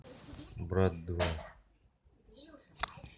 брат два